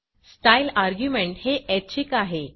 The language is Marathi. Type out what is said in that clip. स्टाईल अर्ग्युमेंट हे ऐच्छिक आहे